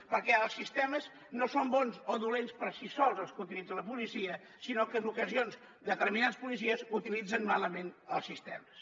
perquè els sistemes no són bons o dolents per si sols els que utilitza la policia sinó que en ocasions determinats policies utilitzen malament els sistemes